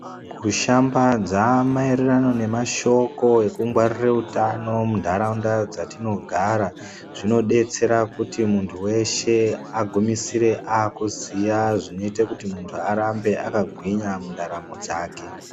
Kushambadza maererano nemashoko ekuchengetedza hutano mundaraunda dzatinogara zvinodetsera kuti muntu weshe agumisire akuziya zvinoita kuti muntu arambe akagwinya mundaramo dzake.